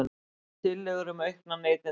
Tillögur um aukna neytendavernd